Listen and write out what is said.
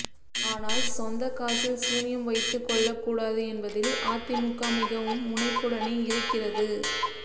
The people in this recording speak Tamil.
ஆனால் சொந்த காசில் சூனியம் வைத்துக் கொள்ளக் கூடாது என்பதில் அதிமுக மிகவும் முனைப்புடனே இருக்கிறது